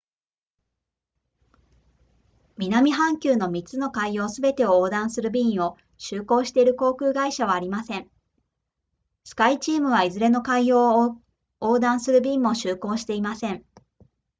南半球の3つの海洋すべてを横断する便を就航している航空会社はありませんスカイチームはいずれの海洋を横断する便も就航していません